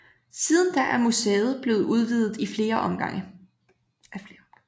Siden da er museet blevet udvidet i flere omgange